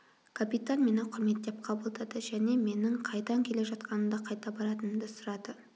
капитан мені құрметтеп қабылдады және менің қайдан келе жатқанымды қайда баратынымды сұрады